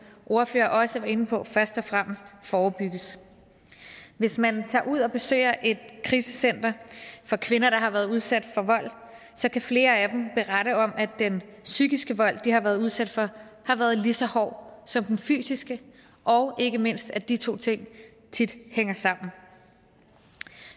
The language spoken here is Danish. ordfører også var inde på først og fremmest forebygges hvis man tager ud og besøger et krisecenter for kvinder der har været udsat for vold så kan flere af dem berette om at den psykiske vold de har været udsat for har været lige så hård som den fysiske og ikke mindst at de to ting tit hænger sammen